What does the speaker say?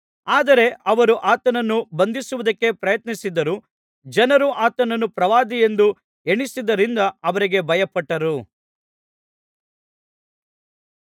ಆದರೆ ಅವರು ಆತನನ್ನು ಬಂಧಿಸುವುದಕ್ಕೆ ಪ್ರಯತ್ನಿಸಿದರೂ ಜನರು ಆತನನ್ನು ಪ್ರವಾದಿಯೆಂದು ಎಣಿಸಿದ್ದರಿಂದ ಅವರಿಗೆ ಭಯಪಟ್ಟರು